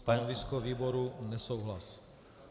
Stanovisko výboru - nesouhlas.